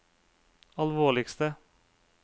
alvorligste